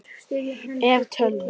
ef. tölvu